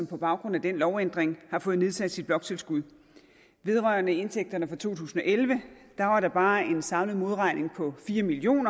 på baggrund af den lovændring har fået nedsat sit bloktilskud vedrørende indtægterne fra to tusind og elleve var der bare en samlet modregning på fire million